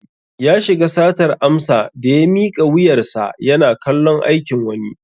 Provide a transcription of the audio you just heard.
Ya shiga satar amsa daya miƙa wuyar sa yana kallon aikin wani